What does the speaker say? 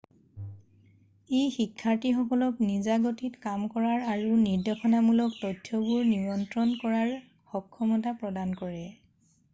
ই শিক্ষাৰ্থীসকলক নিজা গতিত কাম কৰাৰ আৰু নিৰ্দেশনামূলক তথ্যবোৰ নিয়ন্ত্ৰণ কৰাৰ সক্ষমতা প্ৰদান কৰে